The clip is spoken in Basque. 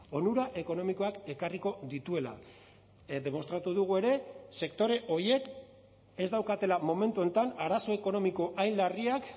onura ekonomikoak ekarriko dituela demostratu dugu ere sektore horiek ez daukatela momentu honetan arazo ekonomiko hain larriak